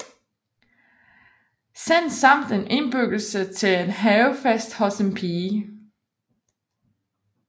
Sand samt en indbydelse til en havefest hos en pige